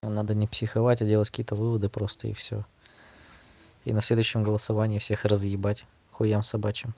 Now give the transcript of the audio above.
ну надо не психовать а делать какие-то выводы просто и всё и на следующем голосование всех разъебать к хуям собачьим